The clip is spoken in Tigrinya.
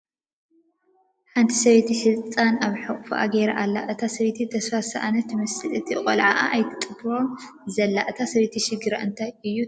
ሓንቲ ሰበይቲ ህፃን ኣብ ሕቑፋኣ ጌራ ኣላ፡፡ እታ ሰበይቲ ተስፋ ዝሰኣነት ትመስል ነቲ ቆልዓኣ ኣይትጥብሮን ዘላ፡፡ እታ ሰበይቲ ሽግራ እንታይ እዩ ትብሉ?